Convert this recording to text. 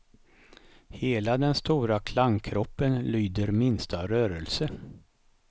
Hela den stora klangkroppen lyder minsta rörelse.